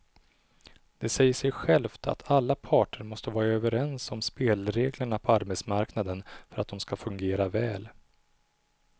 Det säger sig självt att alla parter måste vara överens om spelreglerna på arbetsmarknaden för att de ska fungera väl.